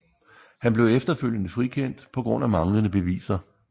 Han blev efterfølgende frikendt på grund af manglende beviser